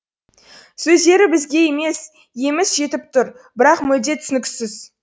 сөздері бізге емес еміс жетіп тұр бірақ мүлде түсініксіз